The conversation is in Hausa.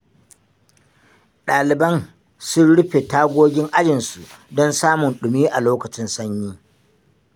Ɗaliban sun rufe tagogin ajinsu, don samun ɗumi a lokacin sanyi.